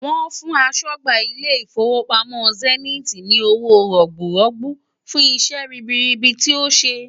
Wọ́n fún aṣọ́gbà ilé ìfowópamọ́ zenith ni owó rọ̀gbùrọ́gbú fún iṣẹ́ ribiribi tí ó ti ṣe.